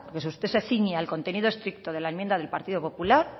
porque si usted se ciñe al contenido estricto de la enmienda del partido popular